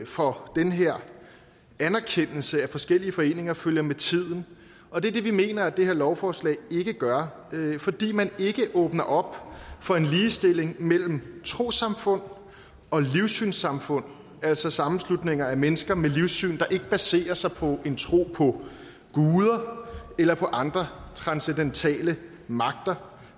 for den her anerkendelse af forskellige foreninger følger med tiden og det er det vi mener at det her lovforslag ikke gør fordi man ikke åbner op for en ligestilling mellem trossamfund og livssynssamfund altså sammenslutninger af mennesker med livssyn der ikke baserer sig på en tro på guder eller andre transcendentale magter